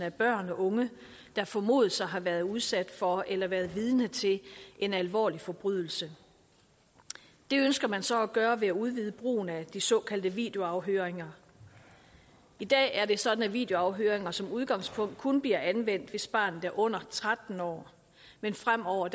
af børn og unge der formodes at have været udsat for eller været vidne til en alvorlig forbrydelse det ønsker man så at gøre ved at udvide brugen af de såkaldte videoafhøringer i dag er det sådan at videoafhøringer som udgangspunkt kun bliver anvendt hvis barnet er under tretten år men fremover